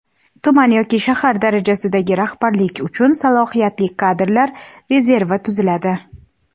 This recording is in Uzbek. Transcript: Tuman yoki shahar darajasidagi rahbarlik uchun Salohiyatli kadrlar rezervi tuziladi:.